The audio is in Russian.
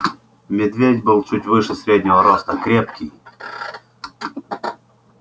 медведь был чуть выше среднего роста крепкий